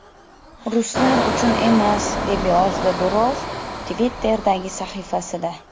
Ruslar uchun emas”, - deb yozdi Durov Twitter’dagi sahifasida.